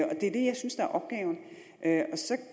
at